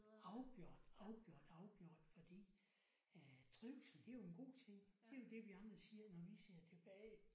Afgjort afgjort afgjort fordi øh trivsel det er jo en god ting. Det er jo det vi andre siger når vi ser tilbage